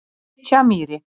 Fitjamýri